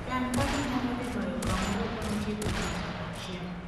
Chan kaka inyalo dhi bayo kamoro bang' tieko odiechieng' achiel.